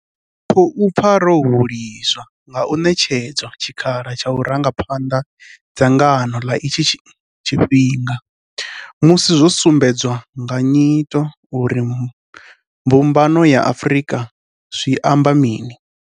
Ri khou pfa ro huliswa nga u ṋetshedzwa tshikhala tsha u ranga phanḓa dzangano nga itshi tshifhinga, musi zwo sumbedzwa nga nyito uri Mbumbano ya Afrika zwi amba mini.